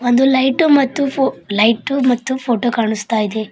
ಒಂದು ಲೈಟು ಮತ್ತು ಫೋ ಲೈಟು ಮತ್ತು ಫೋಟೋ ಕಾಣುಸ್ತಾ ಇದೆ.